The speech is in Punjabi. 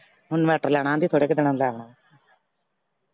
ਹੁਣ inverter ਲੈਣਾ ਆਂਹਦੀ ਥੋੜੇ ਕੁ ਦਿਨਾਂ .